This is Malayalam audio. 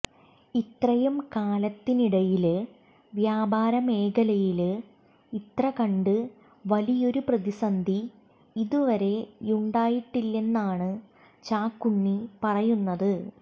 ഇത്രയും കാലത്തിനിടയില് വ്യാപാര മേഖലയില് ഇത്ര കണ്ട് വലിയൊരു പ്രതിസന്ധി ഇതുവരെയുണ്ടായിട്ടില്ലെന്നാണ് ചാക്കുണ്ണി പറയുന്നത്